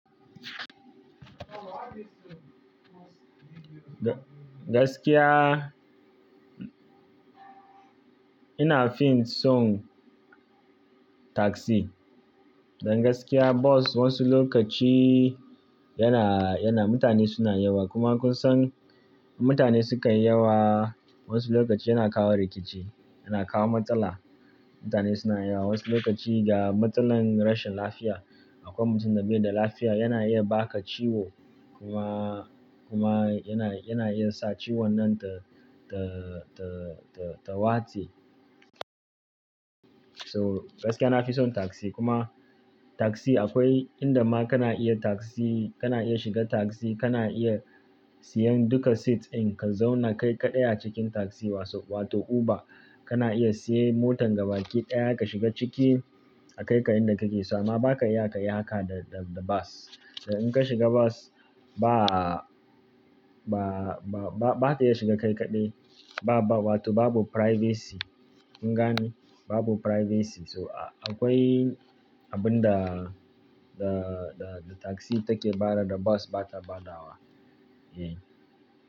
Gaskiya, ina fin son taxi. Dan gaskiya bus wasu lokaci yana, yana mutane suna yawa. Kuma kun san mutane sukan yi yawa wasu lokaci yana kawo rikici, yana kawo matsala. Mutane suna yawa wasu lokaci ga matsalan rashin lafiya. Akwai mutum da bai da lafiya, yana iya baka ciwo kuma, kuma yana, yana iya sa ciwon nan ta, ta, ta, ta, ta watse. So gaskiya na fi son taxi. Kuma taxi akwai inda ma kana iya taxi, kana iya shiga taxi, kana iya siyan duka seats in ka zauna kai kaɗai a cikin taxi wato Uber. Kana iya siyan motan gaba ki ɗaya ka shiga ciki a kai ka inda kake so. Amma ba ka iya ka yi haka da, da, da bus. Dan in ka shiga bus ba, ba, ba, ba, ba ka iya shiga kai kaɗai. Ba, ba wato babu privacy. Kun gane babu privacy. To akwai abun da, da, da, da taxi take bada da bus bata badawa. Eh.